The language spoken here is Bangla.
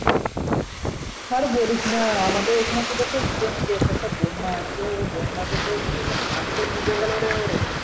আর বলিস না আমাদের এখানে . same case একটা বন্যা আছে ওই বন্যা তে তোর কিছু ধান তো ডুবে গেলো রে